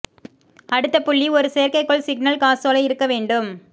அடுத்த புள்ளி ஒரு செயற்கைக்கோள் சிக்னல் காசோலை இருக்க வேண்டும்